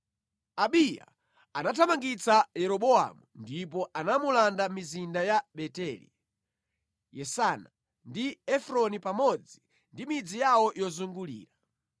Abiya anathamangitsa Yeroboamu ndipo anamulanda mizinda ya Beteli, Yesana, ndi Efroni pamodzi ndi midzi yawo yozungulira.